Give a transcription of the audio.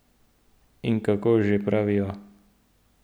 In kako že pravijo?